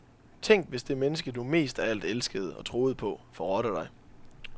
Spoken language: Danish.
Tænk hvis det menneske du mest af alt elskede og troede på forrådte dig.